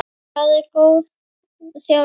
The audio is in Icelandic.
Hvað er góð þjálfun?